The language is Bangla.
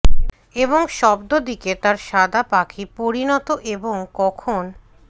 এবং শব্দ দিকে তার সাদা পাখি পরিণত এবং কখন